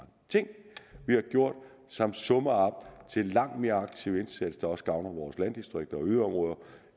ting vi har gjort som summer op til en langt mere aktiv indsats der også gavner vores landdistrikter og yderområder